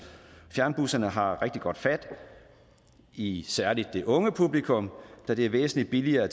fjernbusserne har rigtig godt fat i særlig det unge publikum da det er væsentlig billigere